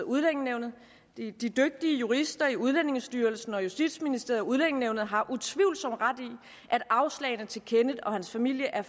udlændingenævnet de dygtige jurister i udlændingestyrelsen og justitsministeriet og udlændingenævnet har utvivlsomt ret i at afslagene til kenneth og hans familie er